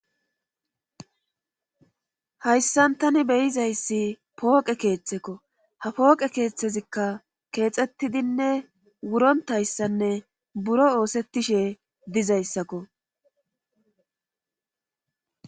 hayssan tani be7izayssi pooqe keethekko ha pooqe keethezikka keexettidinne wuronttayssanne buro oosettishe dizayssako.